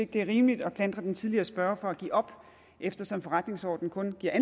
det er rimeligt at klandre den tidligere spørger for at give op eftersom forretningsordenen kun giver